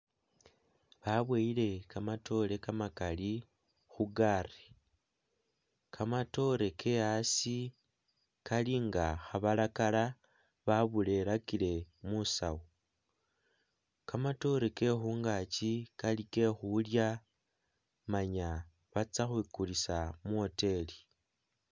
Baboyele kamatoore kamakali khu gaali kamatoore ke asi kali nga khabakala baburerakile musawo, kamatoore ke khungaki kali ke khulya manya batsa khukulisa muwoteli.